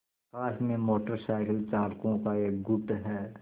आकाश में motor cycle चालकों का एक गुट है